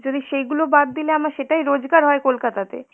যদি সেইগুলো বাদ দিলে আমার সেটাই রোজগার হয় কলকাতাতে,